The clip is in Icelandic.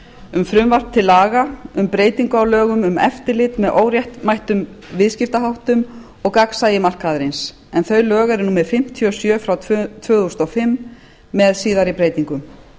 um frumvarp til laga um breytingu á lögum um eftirlit með óréttmætum viðskiptaháttum og gagnsæi markaðarins en þau lög eru númer fimmtíu og sjö tvö þúsund og fimm með síðari breytingum